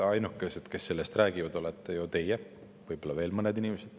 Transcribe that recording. Ainukesed, kes sellest räägivad, olete ju teie, võib-olla veel mõned inimesed.